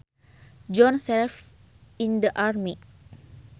John served in the army